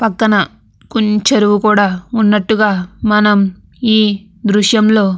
పక్కన చెరువుకూడా ఉన్నట్టుగా మనం ఈ దృశ్యంలో --